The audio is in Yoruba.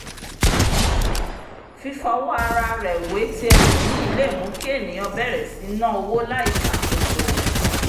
fífọwọ́ ara rẹ wé ti ẹlòmíì le mú kí ènìyàn bèrè sí ní ná owó láìṣàkóso